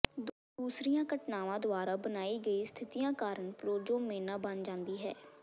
ਦੂਸਰੀਆਂ ਘਟਨਾਵਾਂ ਦੁਆਰਾ ਬਣਾਈ ਗਈ ਸਥਿਤੀਆਂ ਕਾਰਨ ਪ੍ਰੋਜੋਮੇਨਾ ਬਣ ਜਾਂਦੀ ਹੈ